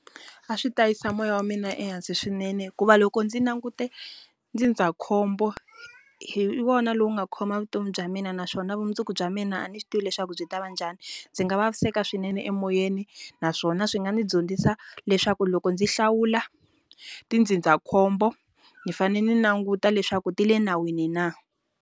A swi ta yisa moya wa mina ehansi swinene hikuva loko ndzi langute ndzindzakhombo hi wona lowu nga khoma vutomi bya mina naswona vumundzuku bya mina a ndzi swi tivi leswaku byi tava njhani ndzi nga vaviseka swinene emoyeni naswona swi nga ndzi dyondzisa leswaku loko ndzi hlawula tindzindzakhombo ndzi fane ndzi languta leswaku ti le nawini na.